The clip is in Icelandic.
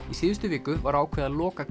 í síðustu viku var ákveðið að loka